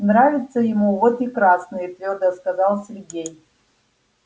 нравится ему вот и красные твёрдо сказал сергей